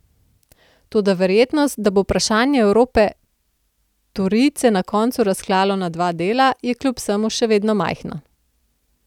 Toda verjetnost, da bo vprašanje Evrope torijce na koncu razklalo na dva dela, je kljub vsemu še vedno majhna.